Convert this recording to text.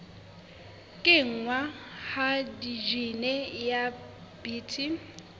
kenngwa ha jine ya bt